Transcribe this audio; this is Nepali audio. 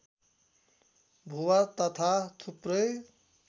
भुवा तथा थुप्रै